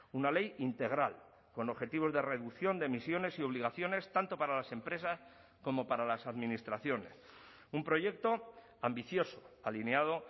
una ley integral con objetivos de reducción de emisiones y obligaciones tanto para las empresas como para las administraciones un proyecto ambicioso alineado